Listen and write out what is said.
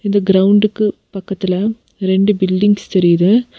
இந்த கிரவுண்டுக்கு பக்கத்துல ரெண்டு பில்டிங்ஸ் தெரியுது.